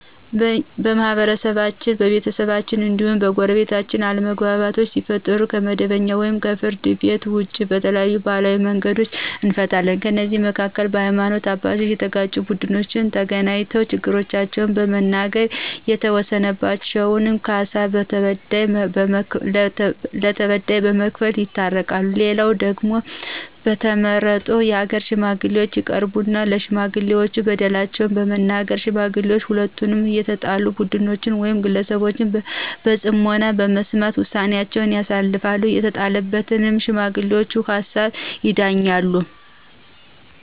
በማህበረሰባችን፣ በቤተሰባችን እንዲሁም በጎረቤታችን አለመግባባቶች ሲፈጠሩ ከመደበኛው ወይም ከፍርድ ቤት ውጭ በተለያዩ ባህላዊ መንገዶች እንፈታለን። ከእነዚህም መካከል በሀይማኖት አባቶች የተጋጩት ቡድኖች ተገናኝተው ችግሮቻቸውን በመናገር የተወሰነባቸውን ካሳ ለተበዳይ በመክፈል ይታረቃሉ፣ ሌላው ደግሞ በተመረጡ የሀገር ሽማግሌዎች ይቀርቡና ለሽማጥሌዎች በደላቸውን በመናገር ሽማግሌዎችም ሁለቱንም የተጣሉ ቡድኖች ውይም ግለሰቦች በጽሞና በመስማት ውሳኔአቸውን ያሳርፋሉ፤ የተጣሉትም በሽማግሌውቹ ሀሳብ ይዳኛሉ።